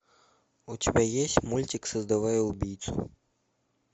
у тебя есть мультик создавая убийцу